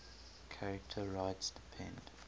charter rights depend